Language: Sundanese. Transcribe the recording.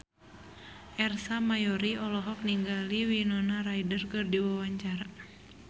Ersa Mayori olohok ningali Winona Ryder keur diwawancara